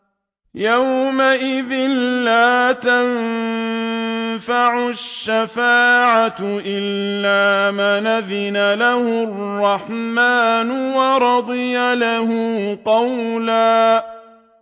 يَوْمَئِذٍ لَّا تَنفَعُ الشَّفَاعَةُ إِلَّا مَنْ أَذِنَ لَهُ الرَّحْمَٰنُ وَرَضِيَ لَهُ قَوْلًا